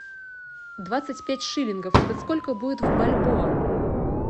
двадцать пять шиллингов это сколько будет в бальбоа